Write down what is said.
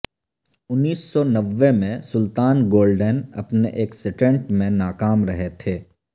انیس سو نوے میں سلطان گولڈن اپنے ایک سٹنٹ میں ناکام رہے تھے